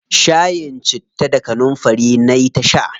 Shayin citta da kanunfari nayi ta sha.